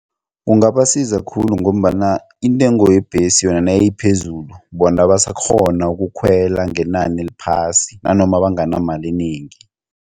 Kungabasiza khulu ngombana intengo yebhesi yona nayiphezulu bona basakghoni ukukhwela ngenani eliphasi nanoma banganamali enengi.